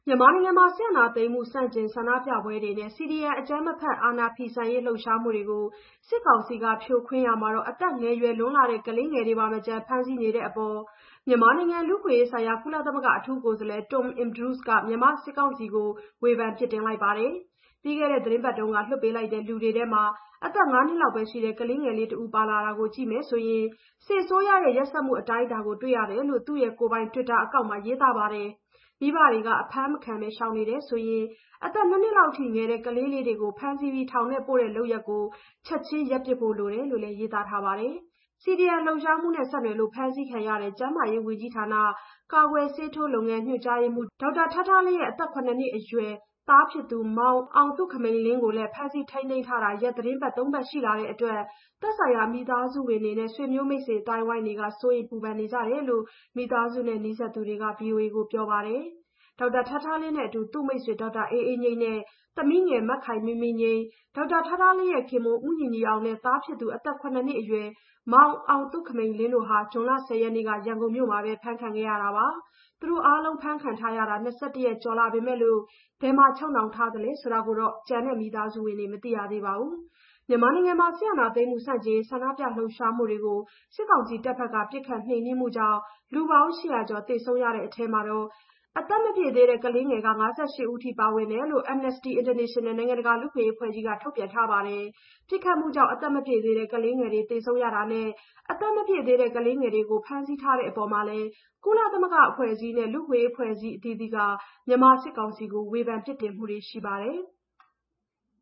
မြန်မာနိုင်ငံ စစ်အာဏာသိမ်းမှု ဆန္ဒပြပွဲတွေနဲ့ CDM အကြမ်းမဖက် အာဏာဖီဆန်ရေး လှုပ်ရှားမှုတွေကို စစ်ကောင်စီက ဖြိုခွင်းရာမှာ အသက်ငယ်ရွယ်လွန်းတဲ့ ကလေးငယ်တွေကိုပါမချန် ဖမ်းဆီးနေတဲ့အပေါ် မြန်မာနိုင်ငံ လူ့အခွင့်အရေးဆိုင်ရာ ကုလသမဂ္ဂ အထူးကိုယ်စားလှယ် Tom Andrews က မြန်မာစစ်ကောင်စီကို ဝေဖန်ပြစ်တင်ပါတယ်။ ပြီးခဲ့တဲ့သီတင်းပတ်က လွှွတ်ပေးလိုက်တဲ့ လူတွေထဲမှာ အသက် ၅ နှစ်အရွယ် ကလေးငယ်တဦး ပါလာတာကို ကြည့်မယ်ဆိုရင် စစ်အစိုးရရဲ့ ရက်စက်မှု အတိုင်းအတာကို တွေ့ရတယ်လို့ သူ့ကိုယ်ပိုင် တွစ်တာအကောင့်ကနေ ရေးသားလိုက်တာပါ။ မိဘတွေက အဖမ်းမခံဘဲ ရှောင်နေတယ်ဆိုရင် အသက် ၂ နှစ်လောက်အထိ ငယ်တဲ့ ကလေးတွေကို ဖမ်းဆီးထောင်ထဲပို့တဲ့ လုပ်ရပ်တွေကို ချက်ချင်းရပ်ပစ်ဖို့ လိုတယ်လို့လည်း ရေးသားထားပါတယ်။ CDM လှုပ်ရှားမှုနဲ့ ဆက်နွှယ်လို့ ဖမ်းဆီးခံခဲ့ရတဲ့ ကျန်းမာရေးဝန်ကြီးဌာန ကာကွယ်ဆေးထိုးလုပ်ငန်း ညွှန်ကြားရေးမှူး ဒေါက်တာထားထားလင်းရဲ့ အသက် ၇ နှစ်အရွယ် သားဖြစ်သူ မောင်အောင်သုခမိန်လင်းကိုလည်း ဖမ်းဆီးထိန်းသိမ်းထားတာ ရက်သီတင်းပတ်သုံးပတ် ရှိလာတဲ့အတွက်လည်း သက်ဆိုင်ရာ မိသားစုဝင်တွေနဲ့ ဆွေမျိုးမိတ်ဆွေ အသိုင်းအဝိုင်းက စိုးရိမ်ပူပန်နေကြတယ်လို့ မိသားစုနဲ့ နီးစပ်သူတဦးက ဗွီအိုအေကို ပြောပါတယ်။ ဒေါက်တာထားထားလင်းနဲ့အတူ သူ့မိတ်ဆွေ ဒေါက်တာအေးအေးငြိမ်းနဲ့ သမီးငယ် မခိုင်မင်းမင်းငြိမ်း၊ ဒေါက်တာထားထားလင်းရဲ့ခင်ပွန်း ဦးညီညီအောင်နဲ့ သားဖြစ်သူ အသက် ၇ နှစ်အရွယ် မောင်အောင်သုခမိန်လင်းတို့ဟာ ဇွန်လ ၁၀ ရက်နေ့ ရန်ကုန်မြို့မှာပဲ အဖမ်းခံခဲ့ရတာပါ။ သူတို့အားလုံး အဖမ်းခံရတာ ၂၁ ရက်ကျော်ရှိလာပေမယ့် ဘယ်မှာချုပ်နှောင်ထားလဲ ဆိုတာကိုပါ ကျန်မိသားစုဝင်တွေ မသိရသေးဘူးလို့လည်း ပြောပါတယ်။ မြန်မာနိုင်ငံတွင်း စစ်အာဏာသိမ်းမှု ဆန့်ကျင်ရေး ဆန္ဒပြ လှုပ်ရှားမှုတွေကို စစ်ကောင်စီတပ်တွေက ပစ်ခတ်နှိမ်နင်းတာကြောင့် လူပေါင်း ၈၀၀ ကျော် သေဆုံးရတဲ့အထဲ အသက်မပြည့်သေးတဲ့ ကလေးလူငယ် ၅၈ ဦး ပါဝင်တယ်လို့ Amnesty International နိုင်ငံတကာ လူ့အခွင့်အရေး အဖွဲ့ကြီးကလည်း ထုတ်ပြန်ထားပါတယ်။ ပစ်ခတ်မှုကြောင့် အသက်မပြည့်သေးတဲ့ ကလေးငယ်တွေ သေဆုံးရတာနဲ့ အသက်မပြည့်တဲ့ ကလေးငယ်တွေကို ဖမ်းဆီးထားတဲ့ အပေါ်မှာလည်း ကုလသမဂ္ဂ အဖွဲ့အစည်းတွေနဲ့ လူ့အခွင့်အရေး အဖွဲ့အစည်း အသီးသီးက မြန်မာစစ်ကောင်စီကို ဝေဖန်ပြစ်တင်မှုတွေ ရှိပါတယ်။